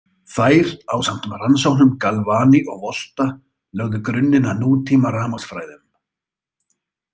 Þær, ásamt rannsóknum Galvani og Volta, lögðu grunninn að nútímarafmagnsfræðum.